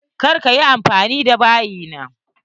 Kar ka yi anfani da bayin nan!